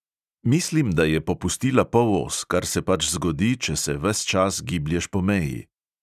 "Mislim, da je popustila polos, kar se pač zgodi, če se ves čas giblješ po meji."